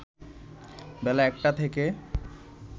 বেলা ১টা থেকে